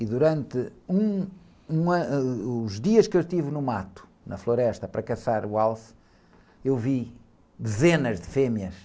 E durante um, um, ãh, os dias que eu estive no mato, na floresta, para caçar o alce, eu vi dezenas de fêmeas.